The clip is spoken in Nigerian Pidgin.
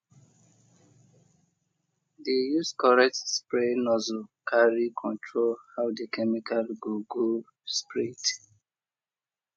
dey use correct spray nozzle carry control how the chemical go go spread